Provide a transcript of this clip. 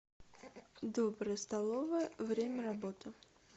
добрая столовая время работы